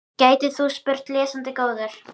gætir þú spurt, lesandi góður.